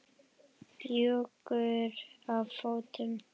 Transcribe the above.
Bjúgur á fótum.